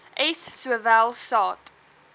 s sowel saad